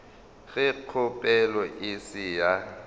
ge kgopelo e se ya